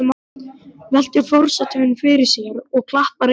veltir forsetinn fyrir sér og klappar einni þeirra.